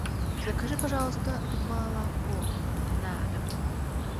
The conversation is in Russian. закажи пожалуйста молоко на дом